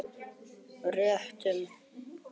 Réttum mánuði eftir að bókin kom út skrifar hann Vilmundi